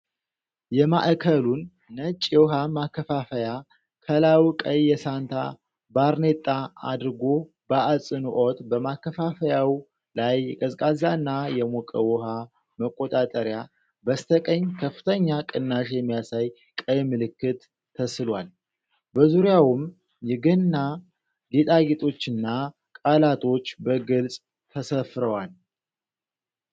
የማዕከሉን ነጭ የውኃ ማከፋፈያ ከላይ ቀይ የሳንታ ባርኔጣ አድርጎ በአጽንዖት በማከፋፈያው ላይ የቀዝቃዛና የሞቀ ውሃ መቆጣጠሪያ፣ በስተቀኝ ከፍተኛ ቅናሽ የሚያሳይ ቀይ ምልክት ተስሏል። በዙሪያውም የገና ጌጣጌጦችና ቃላቶች በግልጽ ተሰፍረዋል።